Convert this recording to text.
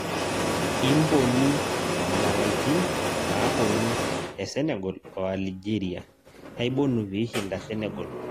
Imbonu indalaitin naaponu e Senegal o aligeria kaibonu piishinda senegal